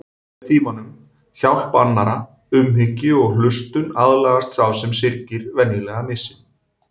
Með tímanum, hjálp annarra, umhyggju og hlustun aðlagast sá sem syrgir venjulega missinum.